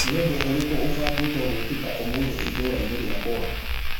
Nĩ ũndũ ũrĩkũ ũbangĩtwo gwĩkĩka ũmũthĩ itũũra-inĩ rĩakwa